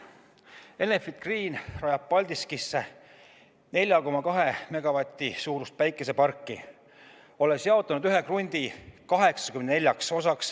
Enefit Green rajab Paldiskisse 4,2 megavati suurust päikeseparki, olles jaotanud ühe krundi 84 osaks.